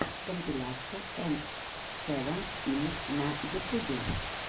компиляция эм сэвен инд на ютубе